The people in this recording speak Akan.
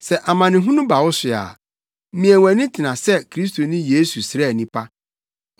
Sɛ amanehunu ba wo so a, mia wʼani tena sɛ Kristo Yesu sraani pa.